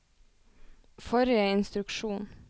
forrige instruksjon